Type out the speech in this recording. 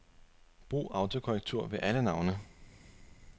Brug autokorrektur ved alle navne.